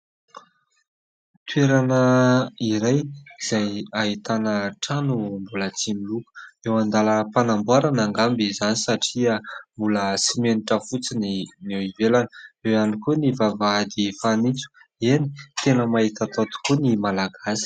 Toerana iray izay ahitana trano mbola tsy miloko. Eo an-dalàm-panamboarana angamba izany satria mbola simenitra fotsiny eo ivelana. Eo ihany koa ny vavahady fanintso. Eny ! Tena mahita atao tokoa ny malagasy.